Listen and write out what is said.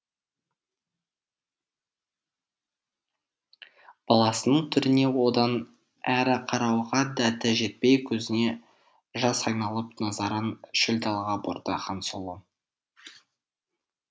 баласының түріне одан әрі қарауға дәті жетпей көзіне жас айналып назарын шөл далаға бұрды хансұлу